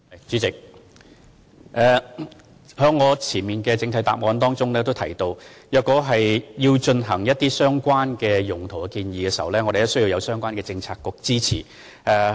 主席，正如我在主體答覆已提到，如果有任何使用空置校舍用地的建議，須先獲得相關政策局的支持。